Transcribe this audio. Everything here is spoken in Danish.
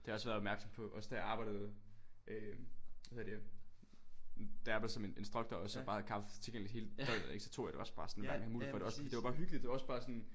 Det har jeg også været opmærksom på også da jeg arbejdede øh hvad hedder det da jeg arbejdede som instruktor og så bare havde kaffe tilgængeligt hele døgnet ik så tog jeg det også bare sådan når jeg havde mulighed for også fordi det det var bare hyggeligt det var også bare sådan